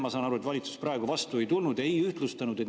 Ma saan aru, et valitsus praegu vastu ei tulnud, ei ühtlustanud.